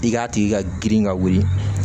I k'a tigi ka girin ka wuli